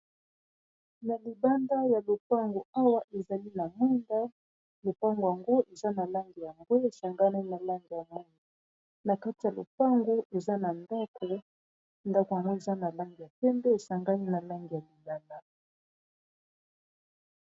Na libanda ya lopango awa ezali na munda lopango yangu eza na langi ya mbwe esangani na langi yamoi na kati ya lopango eza na ndako ndako yangu eza na langi ya pembe esangani na langi ya libanda